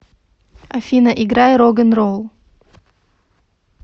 афина играй рог н ролл